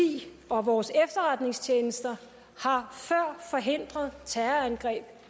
og vores efterretningstjenester har før forhindret terrorangreb